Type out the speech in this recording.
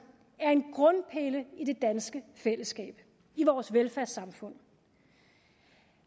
er en grundpille i det danske fællesskab i vores velfærdssamfund